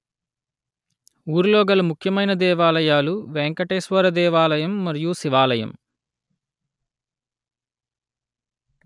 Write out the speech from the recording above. ఊరిలో గల ముఖ్యమైన దేవాలయాలు వెంకటేశ్వర దేవాలయం మరియూ శివాలయం